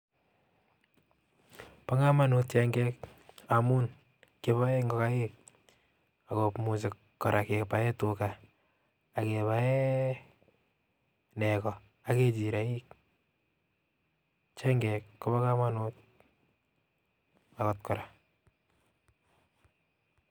Bo komonut chengek amun kiboen ingokaik, akomuche kora kebaen tugaa. Ak kebaen neko ak kechiroik, chengek kobo komonut okot kora